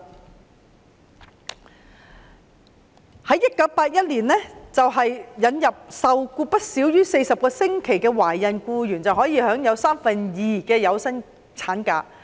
直至1981年，政府又引入受僱不少於40個星期的懷孕僱員可以享有三分之二有薪產假。